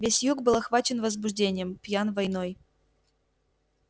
весь юг был охвачен возбуждением пьян войной